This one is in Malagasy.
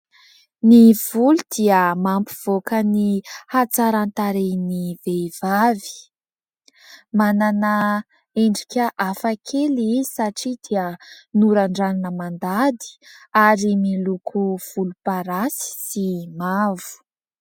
Ny volo dia mampivoaka ny atsaran-tarehin'ny vehivavy. Manana endrika hafa kely izy satria dia norandranina mandady ary miloko volom-parasy sy mavo.